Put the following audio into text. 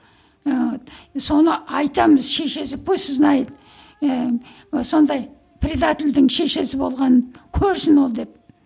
ііі соны айтамыз шешесі пусть знает ііі сондай предательдің шешесі болғанын көрсін ол деп